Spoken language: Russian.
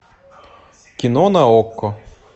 кино на окко